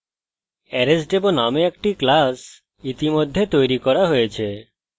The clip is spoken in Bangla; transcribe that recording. arraysdemo named একটা class ইতিমধ্যে তৈরি করা হয়েছে